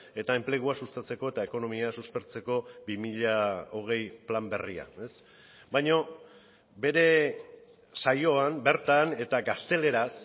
eta enplegua sustatzeko eta ekonomia suspertzeko bi mila hogei plan berria baina bere saioan bertan eta gazteleraz